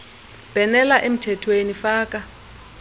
bhenela emthethweni faka